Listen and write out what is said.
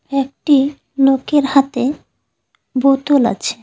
একটি নোকের হাতে বোতল আছে।